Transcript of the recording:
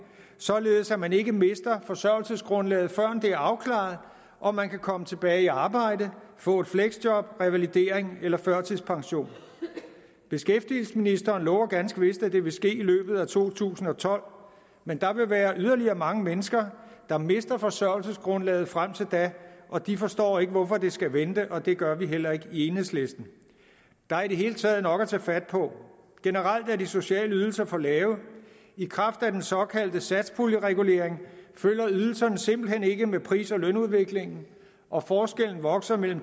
således at man ikke mister forsørgelsesgrundlaget før det er afklaret om man kan komme tilbage i arbejde få et fleksjob revalidering eller førtidspension beskæftigelsesministeren lover ganske vist at det vil ske i løbet af to tusind og tolv men der vil være yderligere mange mennesker der mister forsørgelsesgrundlaget frem til da og de forstår ikke hvorfor det skal vente og det gør vi heller ikke i enhedslisten der er i det hele taget nok at tage fat på generelt er de sociale ydelser for lave i kraft af den såkaldte satspuljeregulering følger ydelserne simpelt hen ikke med pris og lønudviklingen og forskellen vokser mellem